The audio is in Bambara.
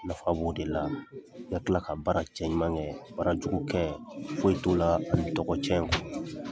Nafa b'o de la i ka tila ka baara cɛɲuman kɛ baarajugu kɛ foyi t'o la tɔgɔcɛn kɔ.